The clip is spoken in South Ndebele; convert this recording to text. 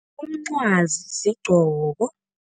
Umncwazi sigqoko.